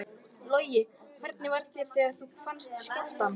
Logi: Hvernig var þér við þegar þú fannst skjálftann?